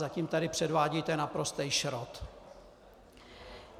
Zatím tady předvádíte naprostý šrot.